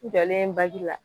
N jɔlen bagi la